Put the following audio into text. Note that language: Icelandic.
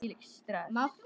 Hvílíkt stress!